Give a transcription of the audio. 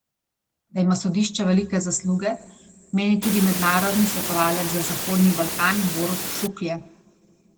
Da ima sodišče velike zasluge, meni tudi mednarodni svetovalec za Zahodni Balkan Borut Šuklje.